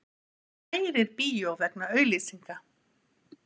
Kærir bíó vegna auglýsinga